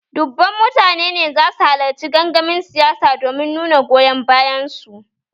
Dubban mutane ne za su halarci gangamin siyasa domin nuna goyon bayan su